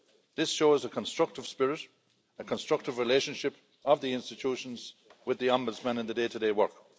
This shows a constructive spirit and a constructive relationship of the institutions with the Ombudsman in the day-to-day work.